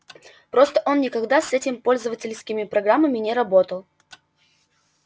просто он никогда с этими пользовательскими программами не работал